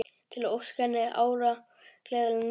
Til að óska henni ára, gleðilegra, nýrra.